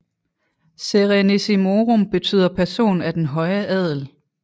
Serenissimorum betyder person af den høje adel